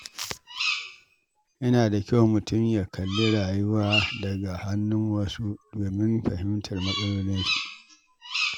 Yana da kyau mutum ya kalli rayuwa daga idanun wasu domin fahimtar matsalolinsu.